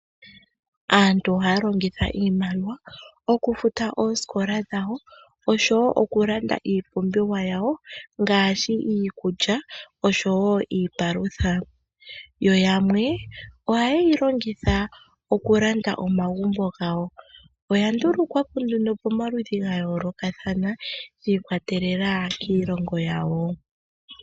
Aantu ohaya longitha iimaliwa okufuta oosikola dhawo osho woo okulanda iipumbiwa yawo ngaashi iikulya osho woo iipalutha yoyamwe ohaye yilongitha okulanda omagumbo gawo oya lundukwapo nee momaludhi gayoolokathana shiikwatela kiilongo yawo.